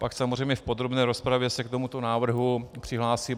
Pak samozřejmě v podrobné rozpravě se k tomuto návrhu přihlásím.